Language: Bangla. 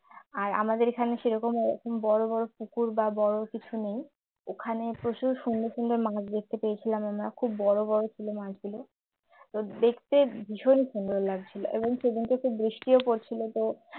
আর আমাদের এখানে সেরকম ওরকম বড় পুকুর বা বড় কিছু নেই ওখানে প্রচুর সুন্দর সুন্দর মাছ দেখতে পেয়েছিলাম আমরা খুব বড় বড় ছিল মাছগুলো তো দেখতে ভীষণই সুন্দর লাগছিল এবং সেদিনকে খুব বৃষ্টি ও পড়ছিল তো